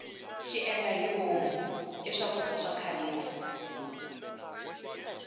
xiendlahivomu i swakudya swa khaleni